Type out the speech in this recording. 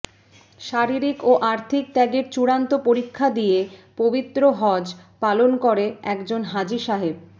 শারীরিক ও আর্থিক ত্যাগের চূড়ান্ত পরীক্ষা দিয়ে পবিত্র হজ পালন করে একজন হাজি সাহেব